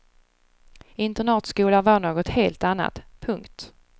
Internatskola var något helt annat. punkt